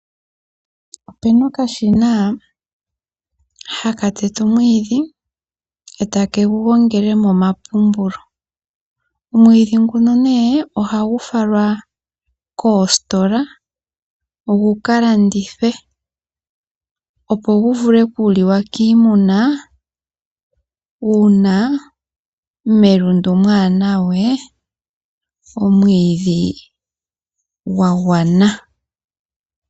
Opu na okashina haka tete omwiidhi e ta ke gu gongele moompumpulu. Omwiidhi nguka ohagu falwa koositola gu ka landithwe, opo gu vule okuliwa kiimuna uuna melundu mwaa na we omwiidhi gwa gwana.